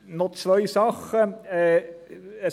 Noch zwei Dinge.